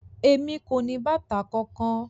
Emi ko ni bàtà kánkan.